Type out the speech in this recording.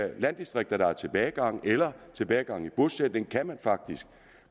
landdistrikter der har tilbagegang eller tilbagegang i bosætning kan man faktisk